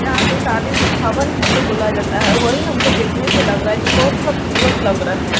जहाँ पे शादी उदी भवन जिसे बोला जाता है वहीं हमको दिखने से लग रहा है जो बहोत खबसूरत लग रहे।